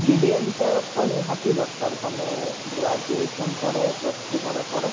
PGDM ଟା ତ ନିହାତି ଦରକାର ତମେ graduation ପରେ plus three ପରେ ପରେ